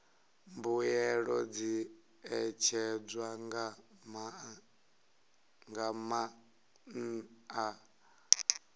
mbuelo dzi ṋetshedzwa nga maanḓa